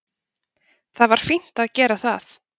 Það var fínt að gera það.